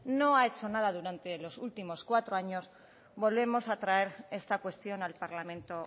no ha hecho nada durante los últimos cuatro años volvemos a traer esta cuestión al parlamento